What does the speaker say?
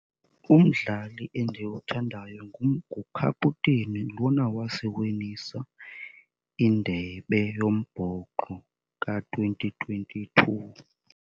Umdlali endiwuthandayo ngukaputeyini lona wasiwinisa indebe yombhoxo ka-twenty twenty-two.